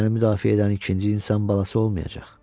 Səni müdafiə edən ikinci insan balası olmayacaq.